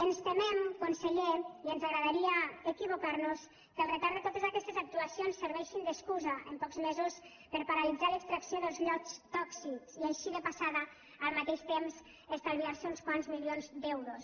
ens temem conseller i ens agradaria equivocar nos que el retard de totes aquestes actuacions serveixi d’excusa en pocs mesos per a paralitzar l’extracció dels llots tòxics i així de passada al mateix temps estalviar se uns quants milions d’euros